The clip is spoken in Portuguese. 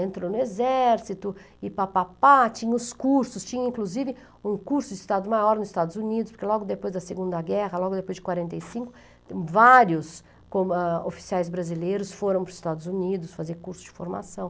Entrou no exército, e pá pá pá, tinha os cursos, tinha inclusive um curso de Estado Maior nos Estados Unidos, porque logo depois da Segunda Guerra, logo depois de quarenta e cinco, vários com ah, oficiais brasileiros foram para os Estados Unidos fazer curso de formação.